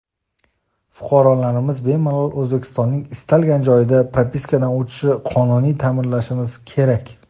"Fuqarolarimiz bemalol O‘zbekistonning istalgan joyida propiskadan o‘tishini qonuniy ta’minlashimiz kerak".